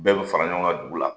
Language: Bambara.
Bɛɛ bɛ fara ɲɔgɔn ka dugu la.